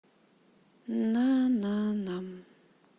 на на на